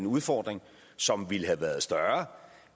udfordring som ville have været større